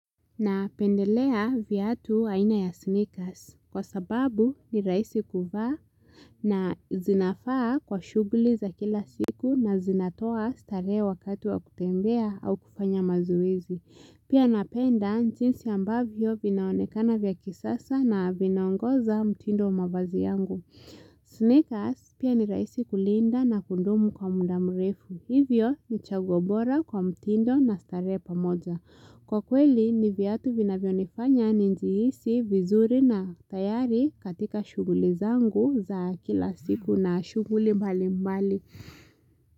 Napendelea viatu aina ya sneakers. Kwa sababu ni rahisi kuvaa na zinafaa kwa shughuli za kila siku na zinatoa starehe wakati wa kutembea au kufanya mazoezi. Pia napenda jinsi ambavyo vinaonekana vya kisasa na vinaongoza mtindo mavazi yangu. Sneakers, pia ni rahisi kulinda na kundumu kwa muda mrefu. Hivyo ni chaguo bora kwa mtindo na starehe pamoja. Kwa kweli, ni vyatu vinavyonifanya nijihisi vizuri na tayari katika shughuli zangu za kila siku na shughuli mbali mbali.